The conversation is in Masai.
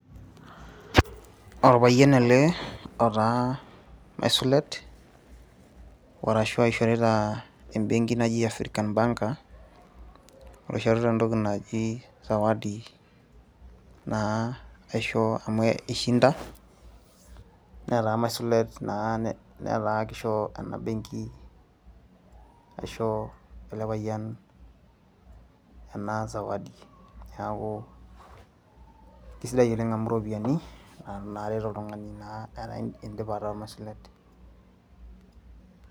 Orpayian ele otaa maisulet arashu oishorita embenki naji African Banker oishorita entoki naji zawadi naa aisho amu ishinda netaa maisulet naa netaa kisho ena benki aisho ele payian ena sawadi, neeku kesidai oleng amu iropiyiani enare toltung'ani metaa indipa ataa maisulet.